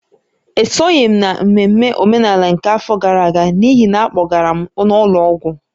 Esoghị m n’ememme omenala nke afọ gara aga n’ihi na a kpọgara m n’ụlọ ọgwụ